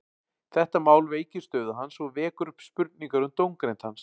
Þetta mál veikir stöðu hans og vekur upp spurningar um dómgreind hans.